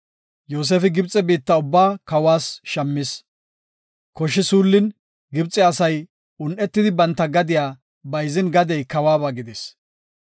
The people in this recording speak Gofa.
Yoosefi Gibxe biitta ubbaa kawas shammis. Koshi suullin, Gibxe asay un7etidi banta gadiya bayzin gadey kawuwaba gidis.